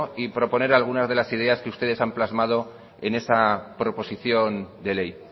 y proponer algunas de las ideas que ustedes han plasmado en esa proposición de ley